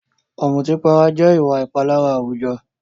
Ọ̀mùtípara jẹ́ ìwà ìpalára àwùjọ.